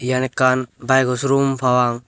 yen ekkan baego sorum parapang.